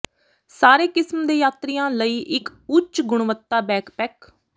ਸਾਰੇ ਕਿਸਮ ਦੇ ਯਾਤਰੀਆਂ ਲਈ ਇੱਕ ਉੱਚ ਗੁਣਵੱਤਾ ਬੈਕਪੈਕ